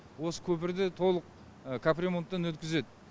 осы көпірді толық капремонттан өткізеді